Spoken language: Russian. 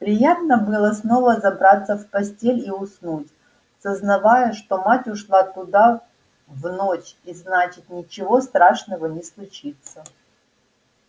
приятно было снова забраться в постель и уснуть сознавая что мать ушла туда в ночь и значит ничего страшного не случится